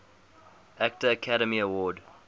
actor academy award